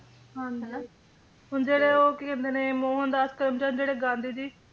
ਹਾਂਜੀ ਹਨਾਂ ਹੁਣ ਜਿਹੜੇ ਉਹ ਕੀ ਕਹਿੰਦੇ ਨੇ ਮੋਹਨਦਾਸ ਕਰਮਚੰਦ ਜਿਹੜੇ ਗਾਂਧੀ ਜੀ